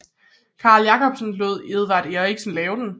Carl Jacobsen lod Edvard Eriksen lave den